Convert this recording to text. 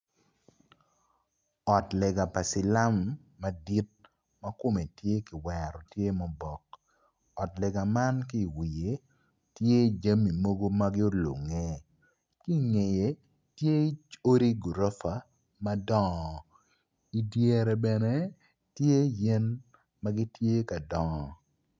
Ot lega pa cilam madit makome tye kiwero tye ma oboke ot lega man ki wiye tye jami mogo ma gulunge kingeye tye odi gurofa madongo i dyere bene tye yen magitye ka dongo.